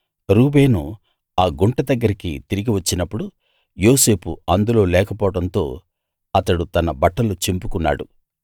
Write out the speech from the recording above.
రూబేను ఆ గుంట దగ్గరికి తిరిగి వచ్చినప్పుడు యోసేపు అందులో లేకపోవడంతో అతడు తన బట్టలు చింపుకున్నాడు